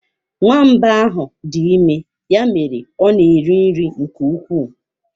Nwamba ahụ dị ime, ya mere ọ na eri nri nke ukwuu.